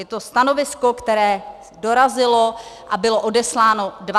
Je to stanovisko, které dorazilo a bylo odesláno 25. října.